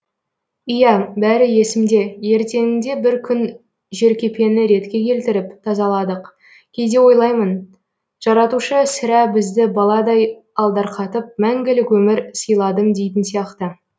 иә бәрі есімде ертеңінде бір күн жеркепені ретке келтіріп тазаладық кейде ойлаймын жаратушы сірә бізді баладай алдарқатып мәңгілік өмір силадым дейтін сияқты